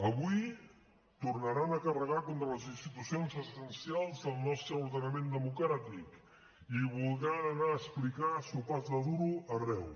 avui tornaran a carregar contra les institucions essencials del nostre ordenament democràtic i voldran anar a explicar sopars de duro arreu